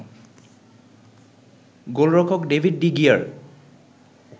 গোলরক্ষক David de gear